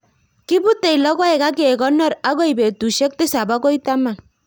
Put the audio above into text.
kiputei logoek ak kekonor akoi petushek tisap agoi taman